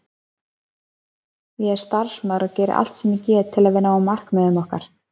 Ég er starfsmaður og geri allt sem ég get til að við náum markmiðum okkar.